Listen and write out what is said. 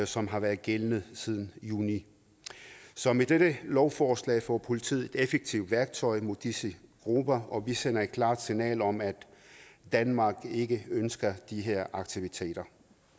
som har været gældende siden juni så med dette lovforslag får politiet et effektivt værktøj mod disse grupper og vi sender et klart signal om at danmark ikke ønsker de her aktiviteter